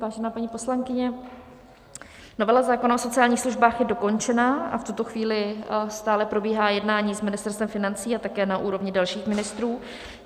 Vážená paní poslankyně, novela zákona o sociálních službách je dokončená a v tuto chvíli stále probíhá jednání s Ministerstvem financí a také na úrovni dalších ministrů.